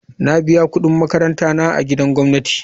Na biya kudin makaranta na a gidan gwamnati.